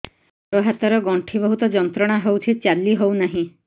ଗୋଡ଼ ହାତ ର ଗଣ୍ଠି ବହୁତ ଯନ୍ତ୍ରଣା ହଉଛି ଚାଲି ହଉନାହିଁ